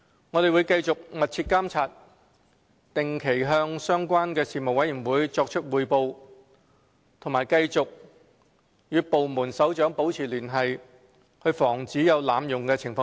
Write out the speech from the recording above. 我們會繼續密切監察，定期向相關事務委員會作出匯報，並繼續與部門首長保持聯繫，以防止出現濫用情況。